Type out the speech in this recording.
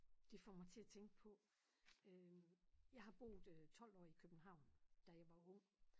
Det får mig til at tænke på øh jeg har boet øh 12 år i København da jeg var ung